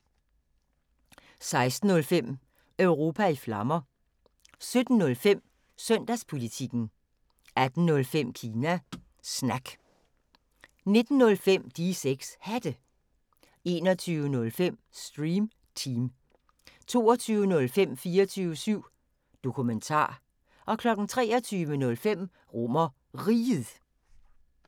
16:05: Europa i Flammer 17:05: Søndagspolitikken 18:05: Kina Snak 19:05: De 6 Hatte 21:05: Stream Team 22:05: 24syv Dokumentar 23:05: RomerRiget